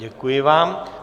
Děkuji vám.